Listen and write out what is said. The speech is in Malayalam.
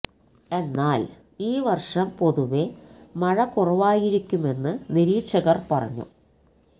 എന്നാല് ഈ വര്ഷം പൊതുവെ മഴ കുറവായിരിക്കുമെന്ന് നിരീക്ഷകര് പറഞ്ഞു